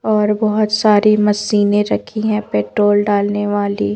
और बहुत सारी मशीनें रखी हैं पेट्रोल डालने वाली--